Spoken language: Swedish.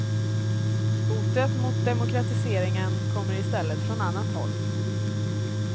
Hotet mot demokratiseringen kommer i stället från annat håll.